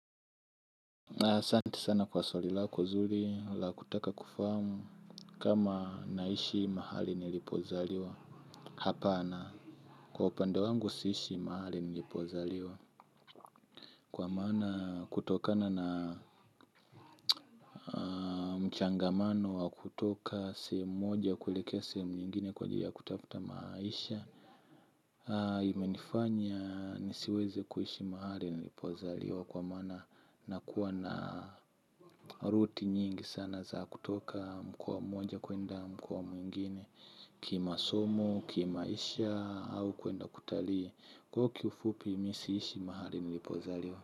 Naam asante sana kwa swali lako zuli la kutaka kufahamu kama naishi mahali nilipozaliwa hapa na kwa upande wangu siishi mahali nilipozaliwa. Kwa maana kutokana na mchangamano wa kutoka sehemu moja kuelekea sehemu nyingine kwa ajili ya kutafuta maisha. Imenifanya nisiweze kuishi mahali nilipozaliwa kwa maana nakuwa na route nyingi sana za kutoka mkoa mmoja kwenda mkoa mwingine. Kimasomo, kimaisha au kwenda kutalii kwa kufupi mimi siishi mahali nilipozaliwa.